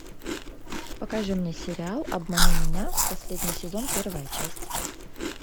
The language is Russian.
покажи мне сериал обмани меня последний сезон первая часть